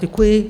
Děkuji.